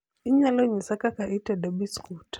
inyalo nyisa kaka itedo biskut